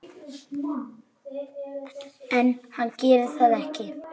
En hann gerir það ekki.